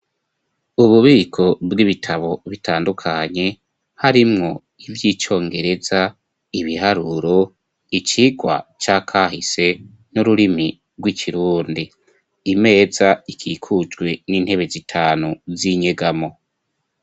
Ububiko bw'ibitabo bitandukanye harimwo ivy'icongereza ibiharuro icigwa c'akahise n'ururimi gw'ikirundi imeza ikikujwe n'intebe zitanu z'inyegamo.